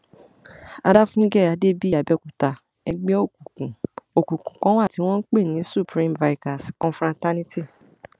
àdàfúngẹ adébíyìàbẹòkúta ẹgbẹ òkùnkùn òkùnkùn kan wà tí wọn ń pè ní supreme vikers confraternity